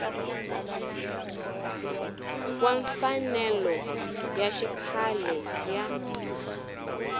wa mfanelo ya xikhale ya